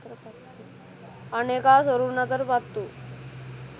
අනෙකා සොරුන් අතට පත් වූ